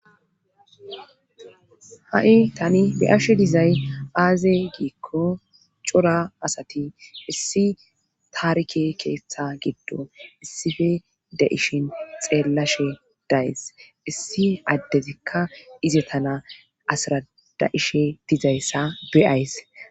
ha7i tani be7ashe dizay aaze giikko cora asati issi taarike keeththa giddo issippe da ishin xeellashe days issi addezikka ize tana asrada7ishe dizayssa be7ays